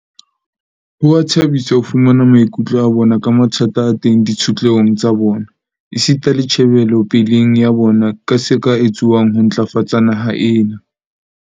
Ho a thabisa ho fumana maikutlo a bona ka mathata a teng ditshotlehong tsa bona, esita le tjhe belopeleng ya bona ka se ka etsuwang ho ntlafatsa naha ena.